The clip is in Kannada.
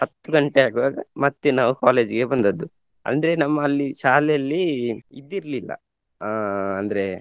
ಹತ್ತ್ ಗಂಟೆ ಆಗುವಾಗ ಮತ್ತೆ ನಾವು college ಗೆ ಬಂದದ್ದುಅಂದ್ರೆ ನಮ್ಮಲ್ಲಿ ಶಾಲೆಯಲ್ಲಿ ಇದಿರ್ಲಿಲ್ಲ ಅಹ್ ಅಂದ್ರೆ.